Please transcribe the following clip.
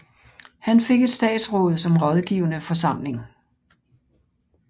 Han fik et statsråd som rådgivende forsamling